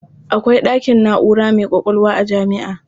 Akwai ɗakin na'ura mai ƙwaƙwalwa a jami'a.